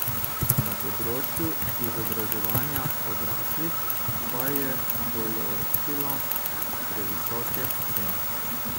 Na področju izobraževanja odraslih pa je določila previsoke cene.